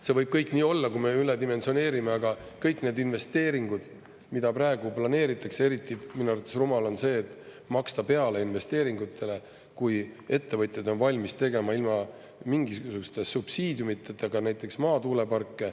See võib kõik nii olla, kui me üledimensioneerime, aga kõik need investeeringud, mida praegu planeeritakse … eriti minu arvates rumal on see, et maksta peale investeeringutele, kui ettevõtjad on valmis tegema ilma mingisuguste subsiidiumideta ka näiteks maatuuleparke.